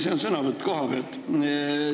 See on sõnavõtt kohapealt.